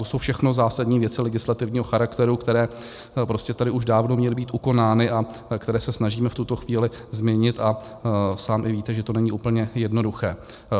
To jsou všechno zásadní věci legislativního charakteru, které prostě tady už dávno měly být ukonány a které se snažíme v tuto chvíli změnit, a sám i víte, že to není úplně jednoduché.